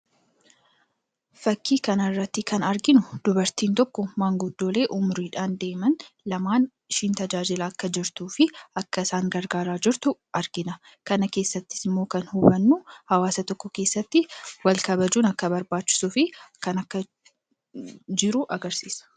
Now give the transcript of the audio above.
Fakkii kanarraatti kan arginu dubartiin tokko maanguddoolee umuriidhaan deeman lamaan ishiin tajaajilaa akka jirtuufi akka isaan gargaaraa jirtu argina. kana keessattisimmoo kan hubannu hawaasa tokko keessatti walkabajuun akka barbaachisuufi kun akka jiru agarsiisa.